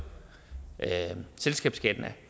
selskabsskatten